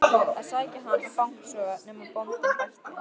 að sækja hann og fanga svo, nema bóndinn bætti.